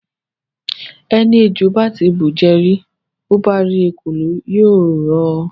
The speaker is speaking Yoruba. Ẹni ejò bá ti bùjẹ rí, bó bá rí ekòló, yóò họ.